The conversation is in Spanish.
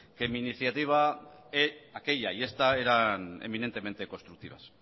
que mi iniciativa aquella y esta eran eminentemente constructivas